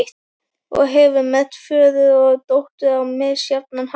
Og hefur merkt föður og dóttur á misjafnan hátt.